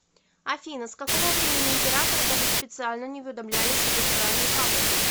афина с какого времени императоры даже специально не уведомлялись об избрании папы